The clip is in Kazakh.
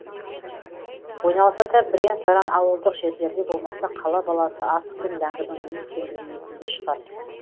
ойналса да бірен саран ауылдық жерлерде болмаса қала баласы асық пен ләңгінің не екенін білмейтін де шығар